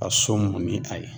Ka so mun ni a ye